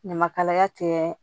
Ɲamakalaya tɛ